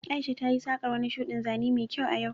Aisha tayi saƙar wani shuɗin zane mai kyau a yau